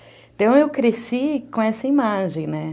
Então eu cresci com essa imagem, né?